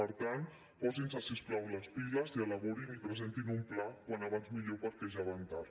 per tant posin se si us plau les piles i elaborin i presentin un pla com més aviat millor perquè ja van tard